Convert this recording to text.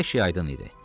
Hər şey aydın idi.